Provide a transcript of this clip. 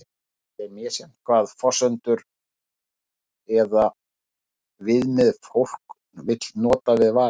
eins er misjafnt hvaða forsendur eða viðmið fólk vill nota við valið